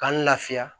K'an lafiya